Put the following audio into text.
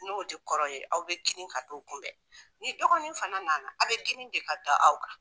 N'o de kɔrɔ ye aw be girin ka t'o kunbɛn ni dɔgɔnin fana nana a be giri de ka da aw kan